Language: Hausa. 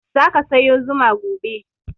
Za ka sayo zuma gobe.